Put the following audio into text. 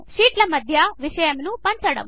షీట్ల మధ్య విషయమును పంచడము